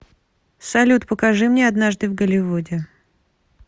салют покажи мне однажды в голливуде